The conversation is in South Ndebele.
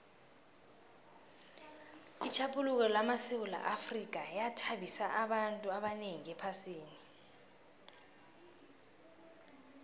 itjhaphuluko lamasewula afrika yathabisa abantu abanengi ephasini